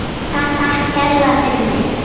Takk kærlega fyrir mig.